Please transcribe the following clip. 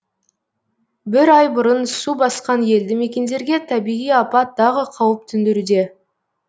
бір ай бұрын су басқан елді мекендерге табиғи апат тағы қауіп төндіруде